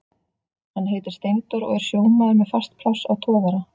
Hann heitir Steindór og er sjómaður með fast pláss á togara.